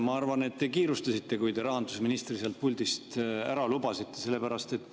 Ma arvan, et te kiirustasite, kui te rahandusministri sealt puldist ära lubasite.